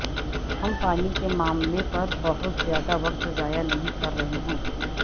ہم پانی کے معاملے پر بہت زیادہ وقت ضائع نہیں کر رہے ہیں